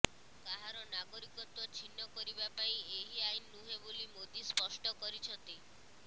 କାହାର ନାଗରିକତ୍ବ ଛିନ୍ନ କରିବା ପାଇଁ ଏହି ଆଇନ ନୁହେଁ ବୋଲି ମୋଦି ସ୍ପଷ୍ଟ କରିଛନ୍ତି